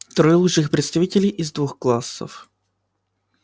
трое лучших представителей из двух классов